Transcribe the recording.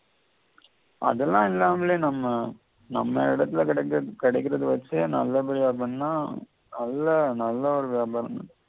அதல்லாம் இல்லாமலே நம்ம நம்ம இடத்தில கிடைக்கிற கிடைக்கிறத வெச்சே நல்ல படியா பண்ணா நல்ல நல்ல ஒரு வியாபாரம் நடக்கும்